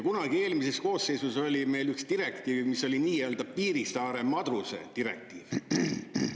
Kunagi eelmises koosseisus oli meil üks direktiiv, mis oli nii-öelda Piirissaare madruse direktiiv.